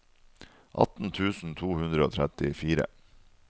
atten tusen to hundre og trettifire